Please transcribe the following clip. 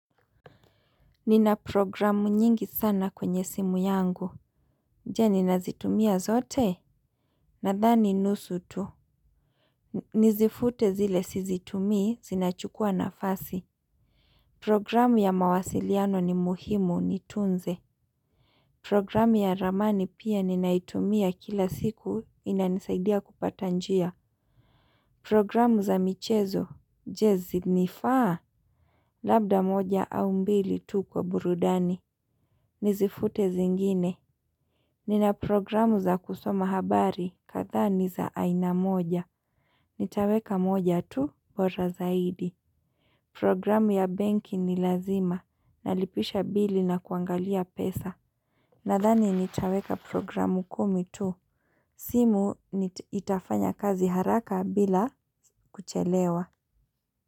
Nina programu nyingi sana kwenye simu yangu. Je nina zitumia zote? Nadhani nusu tu. Nizifute zile sizitumii zinachukua nafasi. Programu ya mawasiliano ni muhimu nitunze. Programu ya ramani pia ninaitumia kila siku inanisaidia kupata njia. Programu za michezo. Je zinifaa? Labda moja au mbili tu kwa burudani. Nizifute zingine. Nina programu za kusoma habari kadha ni za aina moja. Nitaweka moja tu bora zaidi. Programu ya benki ni lazima. Nalipisha bili na kuangalia pesa. Nadhani nitaweka programu kumi tu. Simu itafanya kazi haraka bila kuchelewa.